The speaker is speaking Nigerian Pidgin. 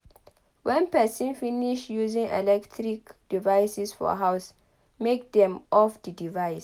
When person finish using electric devices for house make dem off di device